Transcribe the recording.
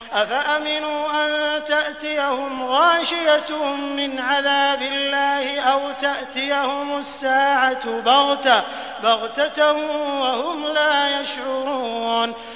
أَفَأَمِنُوا أَن تَأْتِيَهُمْ غَاشِيَةٌ مِّنْ عَذَابِ اللَّهِ أَوْ تَأْتِيَهُمُ السَّاعَةُ بَغْتَةً وَهُمْ لَا يَشْعُرُونَ